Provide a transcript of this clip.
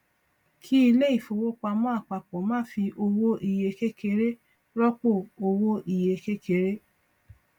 kí ilé ifówopàmọ àpapọ má fi owó iye kékeré rọpò owó iye kékeré